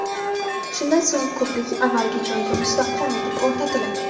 Shundan so‘ng ko‘prik avvalgi joyiga mustahkam etib o‘rnatiladi.